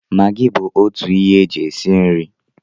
Magi bụ otu ihe e ji esi nri